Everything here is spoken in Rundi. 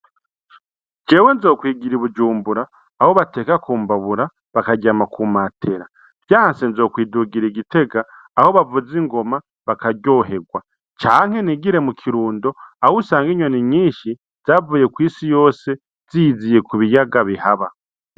Jewe nzokwigira I bujumbura aho bateka ku mbabura bakaryama ku matera vyanse nzokwidugira i gitega aho bavuza ingoma bakaryoherwa canke n'igire mu kirundo aho usanga inyoni nyinshi zavuye kw'isi yose ziyiziye kubiyaga bihaba.